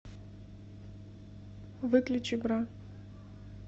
выключи бра